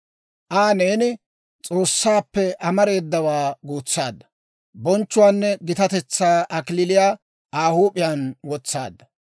Aa neeni S'oossaappe amareedawaa guutsaadda; Bonchchuwaanne gitatetsaa kalachchaa Aa huup'iyaan wotsaadda.